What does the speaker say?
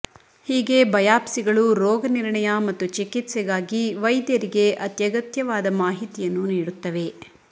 ಹೀಗೆ ಬಯಾಪ್ಸಿಗಳು ರೋಗನಿರ್ಣಯ ಮತ್ತು ಚಿಕಿತ್ಸೆಗಾಗಿ ವೈದ್ಯರಿಗೆ ಅತ್ಯಗತ್ಯವಾದ ಮಾಹಿತಿಯನ್ನು ನೀಡುತ್ತವೆ